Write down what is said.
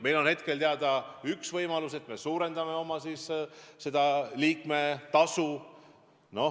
Meil on teada üks võimalus: et me suurendame oma liikmetasu.